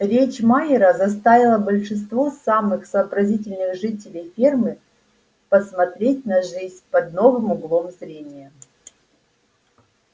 речь майера заставила большинство самых сообразительных жителей фермы посмотреть на жизнь под новым углом зрения